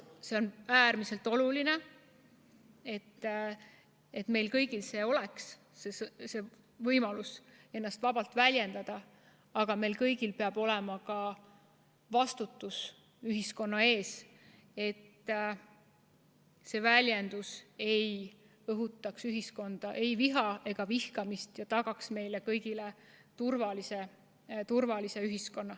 On äärmiselt oluline, et meil kõigil oleks võimalus ennast vabalt väljendada, aga meil kõigil peab olema ka vastutus ühiskonna ees, et see vabalt väljendatu ei õhutaks ühiskonnas viha ega vihkamist ja et meile kõigile oleks tagatud turvaline ühiskond.